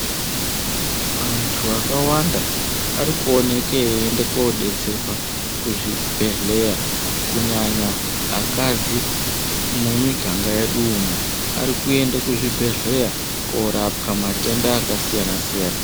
Antu akawanda ari kuoneke eyi ende ko detserwa ku zvibhedhleya kunyanya akadzi mu miganga yedu umo ari kuenda mu zvibhedhlera korapwa matenda aka siyana siyana.